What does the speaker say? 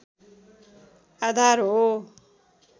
आधार हो